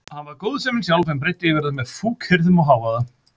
Hann var góðsemin sjálf en breiddi yfir það með fúkyrðum og hávaða.